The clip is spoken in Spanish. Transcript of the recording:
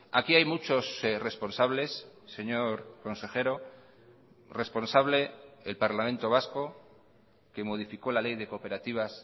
aquí hay muchos responsables señor consejero responsable el parlamento vasco que modificó la ley de cooperativas